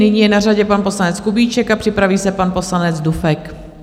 Nyní je na řadě pan poslanec Kubíček a připraví se pan poslanec Dufek.